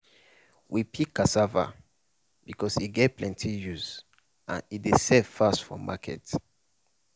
we pick cassava because e get plenty use and e dey sell fast for market.